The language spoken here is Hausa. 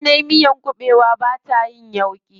Idan nayi miyar kuɓewa bata yin yauƙi.